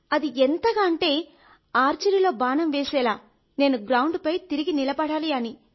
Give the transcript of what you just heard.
అది ఎంతగా అంటే ఆర్చరీలో బాణం వేసేలా నేను గ్రౌండ్ పై తిరిగి నిలబడాలి అని